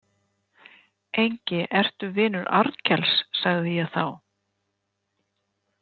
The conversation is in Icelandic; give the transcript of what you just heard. Engi ertu vinur Arnkels, sagði ég þá.